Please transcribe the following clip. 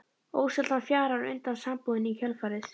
Ósjaldan fjarar undan sambúðinni í kjölfarið.